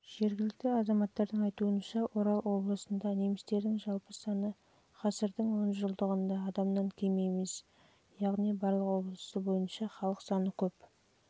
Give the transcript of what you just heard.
жергілікті азаматтардың айтуынша орал облысында немістердің жалпы саны ғасырдың онжылдығында адамнан кем емес яғни барлық облыс бойынша халық